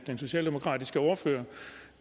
en socialdemokratisk